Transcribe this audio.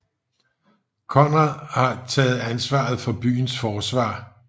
Konrad havde taget ansvaret for byens forsvar